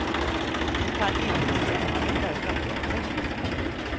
Du kan inte stämma mej därför att jag är du.